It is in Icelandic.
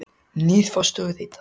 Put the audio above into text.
Nýr forstjóri Reita